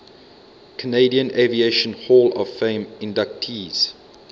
canadian aviation hall of fame inductees